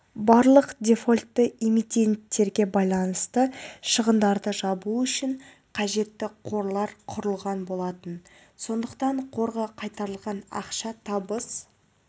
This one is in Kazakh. барлық дефолтты эмитенттерге байланысты шығындарды жабу үшін қажетті қорлар құрылған болатын сондықтан қорға қайтарылған ақша табыс